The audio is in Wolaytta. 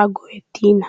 a go'ettiina.